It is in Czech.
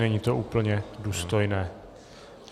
Není to úplně důstojné.